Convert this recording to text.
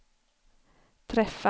träffas